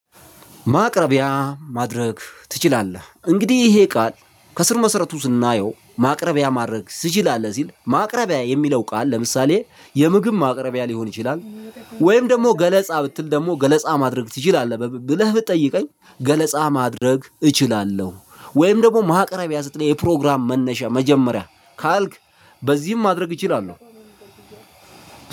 ማቅረቢያ ማድረግ ትችላለህ እንግዲህ ይሄ ቃል ከስር መሰረቱ ስናየው ማቅረቢያ ማድረግ ትችላለህ ሲል ማቅረቢያ የሚለው ቃል ለምሳሌ የምግብ ማቅረቢያ ሊሆን ይችላል። ወይም ደግሞ ገለፃ ብትል ደግሞ ገለፃ ማድረግ ትችላለህ ብለህ ብትጠይቀኝ ገለፃ ማድረግ እችላለሁ። ወይ ደግሞ ማቅረቢያ ስትለኝ የፕሮግራም መነሻ መጀመሪያ ካልክ በዚህም ማድረግ እችላለሁ።